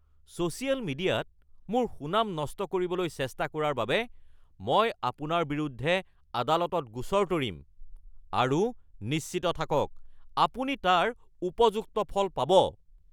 social মিডিয়াত মোৰ সুনাম নষ্ট কৰিবলৈ চেষ্টা কৰাৰ বাবে মই আপোনাৰ বিৰুদ্ধে আদালতত গোচৰ তৰিম আৰু নিশ্চিত থাকক আপুনি তাৰ উপযুক্ত ফল পাব